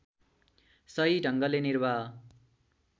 सही ढङ्गले निर्वाह